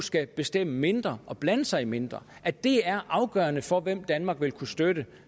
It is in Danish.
skal bestemme mindre og blande sig mindre at det er afgørende for hvem danmark vil kunne støtte